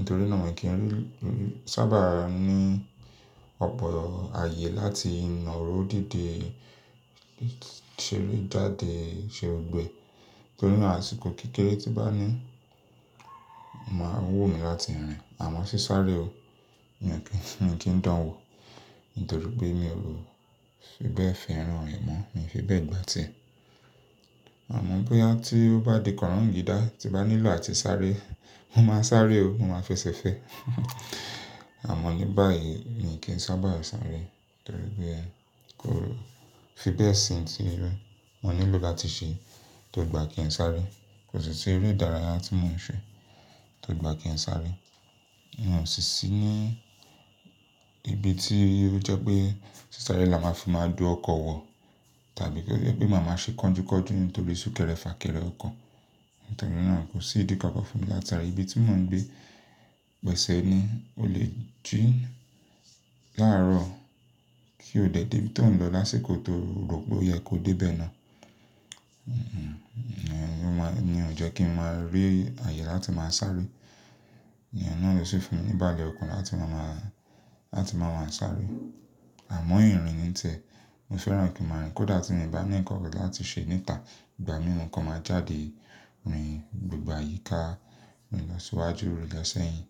Ntorí náà mi n kì í rí, ri, sábà ní ọ̀pọ̀ ààyè láti nàró dìde, ṣeré jáde, ṣe gbogbo ẹ́. Ntorí náà àsìkò kékeré tí bá ní, máa wú mi láti rìn. Àmọ́ ṣí sáré o, mi ò kí ń, mi o ki n dánwò. Ntorí pé mi ò fi bẹ́ẹ̀ fẹ́ràn re mo. Mi fi bẹ́ẹ̀ gbá tie. Àmọ́ bóyá tí ó bá di kọ̀rọ̀ǹgídá, tí bá nílò àti sáré, mo máa sáré o. Mo máa fẹsẹ̀ fẹ́. Àmọ́ ní báyìí mi ò kí ń sábà sáré. Ntorí i pé ẹ kó fi bẹ́ẹ̀ sin ti rí. Mo nílò láti ṣe tó gbà kí ń sáré. Kò sí si eré ìdárayá tí mò ń ṣe tó gbà kí ń sáré. Mo sì sí ní ibi tí ó jẹ́ pé ṣí sáré la máa fi máa dù ọkọ̀ wọ̀ tàbí pé ó jẹ́ pé màá máa ṣe kọ̀njú kọ̀njú nítorí sún kẹ́rẹ fà kẹ́rẹ ọkọ̀. Ntorí náà kò sí ìdí kankan fún mi láti sáré. Ibi tí mò ń gbé gbẹ̀ṣẹ́ ni ó lè jín láàárọ̀ kí ó dẹ̀ dé bí tò ń lọ lásìkò tó rò pé ó yẹ kó dé bẹ́ẹ̀ náà. Iyen ò jẹ́ kí ń máa rí ààyè láti máa sáré. Ìyẹn náà ló ṣe fún mi ni ibálẹ̀ okan láti máa má, láti máa wá sáré. Àmọ́ ìrìn ni n tiẹ̀. Mo fẹ́ràn kí ń máa rìn. Kódà tí mi bá ní ǹnkan kan láti ṣe níta, ìgbà mìíràn kan máa jáde rìn gbogbo àyíká, rìn lọ síwájú, rìn lọ sẹ́yìn.